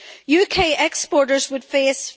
UK exporters would face